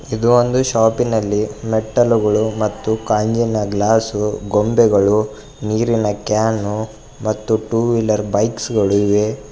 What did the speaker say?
ಇದು ಒಂದು ಶಾಪಿ ನಲ್ಲಿ ಮೆಟ್ಟಲುಗಳು ಮತ್ತು ಕಾಂಜಿನ ಗ್ಲಾಸ್ಸು ಗೊಂಬೆಗಳು ನೀರಿನ ಕ್ಯಾನು ಮತ್ತು ಟು ವೀಲರ್ ಬೈಕ್ಸ್ ಗಳು ಇವೆ.